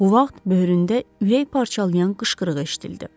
Bu vaxt böyründə ürək parçalayan qışqırıq eşidildi.